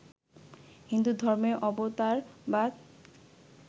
হিন্দুধর্মে অবতারবাদ